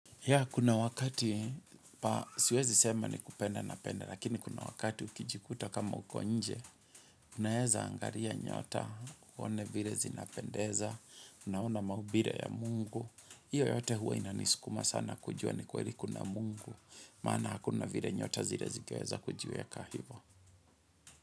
Ya, kuna wakati, pa, siwezi sema ni kupenda napenda, lakini kuna wakati ukijikuta kama uko nje, unaeza angalia nyota, uone vile zinapendeza, unaona maumbile ya mungu, hiyo yote huwa inanisukuma sana kujua ni kweli kuna mungu, maana hakuna vile nyota zile zingeweza kujiweka hivo.